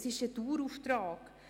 Das ist ein Dauerauftrag.